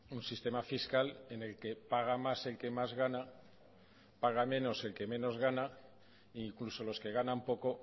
un sistema fiscal en el que paga más el que más gana paga menos el que menos gana e incluso los que ganan poco